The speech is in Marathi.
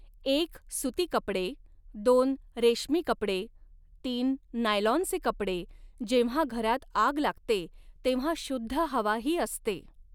एक सुती कपड़े दोन रेशमी कपड़े तीन नायलॉनचे कपडे जेव्हा घरात आग लागते तेव्हा शुद्ध हवा ही असते.